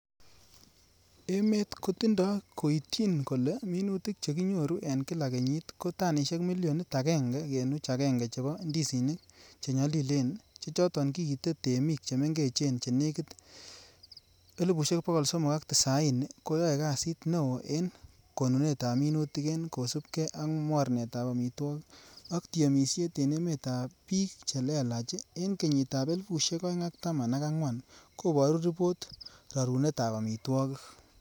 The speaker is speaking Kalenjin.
Emet kotinde koityin kole minutik che kinyoru en kila kenyit ko tanisiek milionit agenge kenuch agenge chebo ndisinik che nyolilen, che choton kiite temik chemengechen chenekit 390,000,koyoe kasit neo en konunetab minutik, en kosiibge ak mornetab amitwogik ak temisiet en emetab bik che lalach en kenyitab elifusiek oeng ak taman ak angwan koboru ripot rorunetab amitwogik.